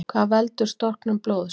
Hvað veldur storknun blóðs?